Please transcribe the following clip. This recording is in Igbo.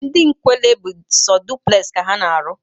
Ndị Nkwelle bu so dupulexi ka ana arụ